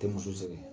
Tɛ muso sɛgɛn